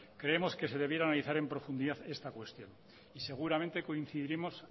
creemos que se debiera analizar en profundidad esta cuestión y seguramente coincidiremos